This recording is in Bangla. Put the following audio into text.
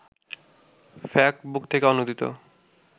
ফ্যাক্টবুক থেকে অনুদিত